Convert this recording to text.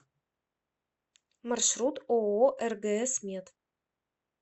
маршрут ооо ргс мед